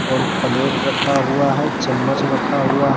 और प्लेट रखा हुआ है चम्मच रखा हुआ है।